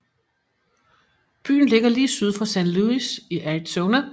Byen ligger lige syd for San Luis i Arizona